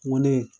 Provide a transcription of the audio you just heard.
Ŋo ne